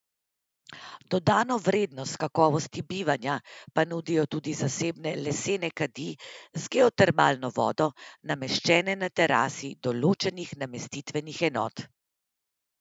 Dodano vrednost kakovosti bivanja pa nudijo tudi zasebne lesene kadi z geotermalno vodo, nameščene na terasi določenih namestitvenih enot.